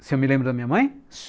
Você me lembra da minha mãe?